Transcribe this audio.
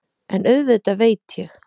En auðvitað veit ég.